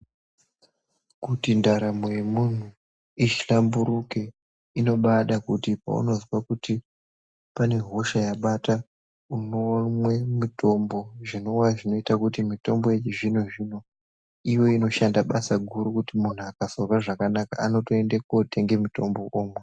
Kuti ndaramo yemunhu, ihlamburuke inobada kuti paunozwa kuti pane hosha yabata, unomwe mitombo zvinowa zvinoita kuti mitombo yechizvino-zvino ive inoshanda basa guru kuti muntu akasazwa zvakanaka anotoende kotenge mitombo omwa.